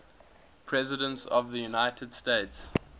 presidents of the united states